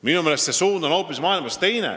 Minu meelest on üldine suund maailmas teine.